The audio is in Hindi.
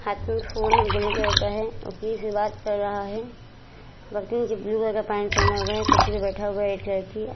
हाथ में फ़ोन हैगोल्डन कलर का है और किसी से बात कर रहा है। ब्लू कलर का पेंट पहना हुआ है कुर्सी पे बैठा हुआ है रेड कलर की।